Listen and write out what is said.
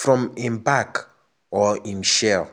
from im bark or im shell.